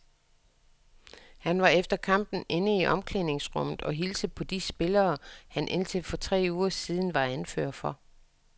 Han var efter kampen inde i omklædningsrummet og hilse på de spillere, han indtil for tre uger siden var anfører for.